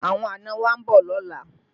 Àwọn àna wa ń bọ̀ lọ́la